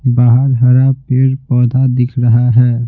बाहर हरा पेड़ पौधा दिख रहा है।